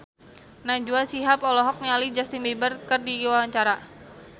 Najwa Shihab olohok ningali Justin Beiber keur diwawancara